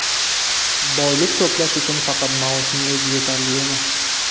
Boylik to‘plash uchun faqat maoshning o‘zi yetarli emas.